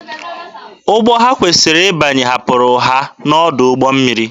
Ụgbọ ha kwesịrị ịbanye hapụrụ ha n'ọdụ ụgbọ mmiri.